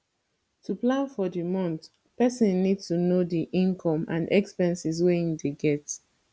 to plan for di month person need to know di income and expenses wey im dey get